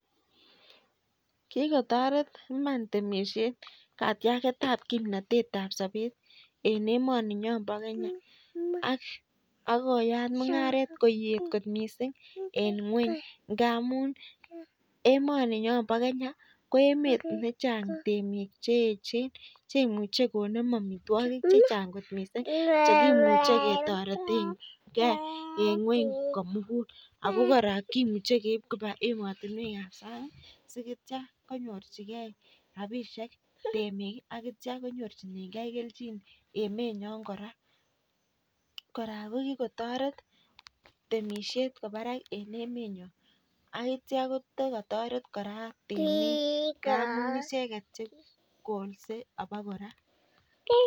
Kigotoret iman temsiet katiaget ab kimnatet ab sobet en emoninyon bo Kenya ak koyat mung'aret koet kot mising en ngweny. Ngamun emoni nyon bo Kenya ko emet nechang temik che eechen che imuche konem amitwogik che chnag kot mising che kimuche kitoretenge en ngweny komogul ago kimuch ekeib koba emotinwek ab sang si kityo konyorjige rabinik temik ak ichek ak konyorjige kelchin emenyon kora. Kora ko kigotoret temisiet kwo barak en emenyon ak kityo kotokotoret kora temik, ngamun icheget che kolse abakora.